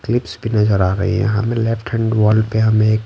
clips भी नजर आ रही हैं हमें लेफ्ट हैंड वॉल पे हमें ए--